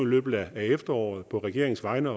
løbet af efteråret på regeringens vegne